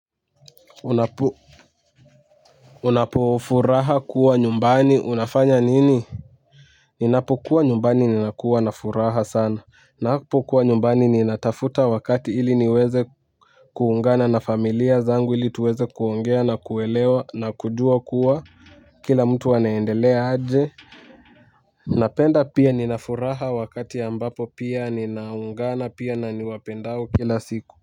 Unapofuraha kuwa nyumbani unafanya nini. Ninapokuwa nyumbani ninakuwa na furaha sana. Napokuwa nyumbani ninatafuta wakati ili niweze kuungana na familia zangu ili tuweze kuongea na kuelewa na kujua kuwa kila mtu anaendelea aje. Napenda pia ninafuraha wakati ambapo pia ninaungana pia na niwapendao kila siku.